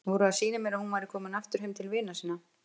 Voru að sýna mér að hún væri komin aftur heim til vina sinna.